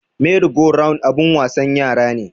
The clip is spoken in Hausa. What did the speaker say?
Meri go round abun wasan yara ne